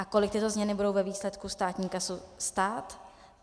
A kolik tyto změny budou ve výsledku státní kasu stát?